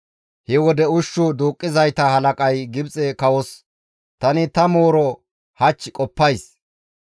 He wode ushshu duuqqizayta halaqay Gibxe kawos, «Tani ta mooro hach qoppays.